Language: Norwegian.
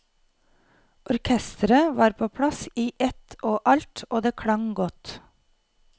Orkestret var på plass i ett og alt, og det klang godt.